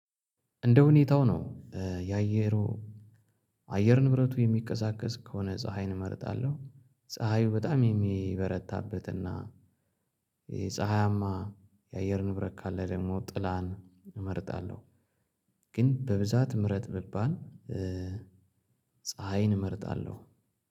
እንደሁኔታው ነው እ የአየሩ አየር ንብረቱ የሚቀዛቀዝ ከሆነ ፀሀይን እመርጣለሁ ፀሀዩ በጣም የሚበረታበት እና ይሄ ፀሀያማ የአየር ንብረት ካለ ደግሞ ጥላን እመርጣለሁ። ግን በብዛት ምረጥ ብባል እ ፀሀይን እመርጣለሁ።